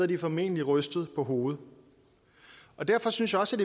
de formentlig rystet på hovedet derfor synes jeg også